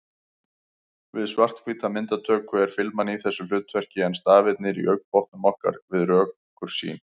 Við svarthvíta myndatöku er filman í þessu hlutverki en stafirnir í augnbotnum okkar við rökkursýn.